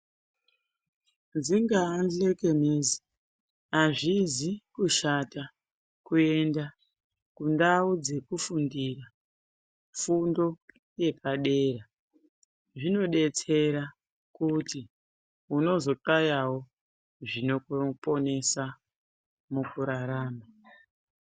Dzingaa dhlekenezi azvizi kushata kuenda kundau dzekufundira fundo yepadera zvinodetsera kuti unozoxayawo zvinokunesa mukurarama.